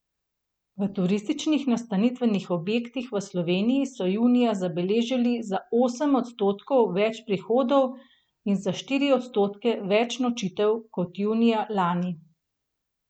V turističnih nastanitvenih objektih v Sloveniji so junija zabeležili za osem odstotkov več prihodov in za štiri odstotke več nočitev kot junija lani.